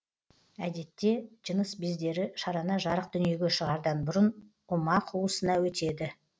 әдетте жыныс бездері шарана жарық дүниеге шығардан бұрын ұма қуысына өтеді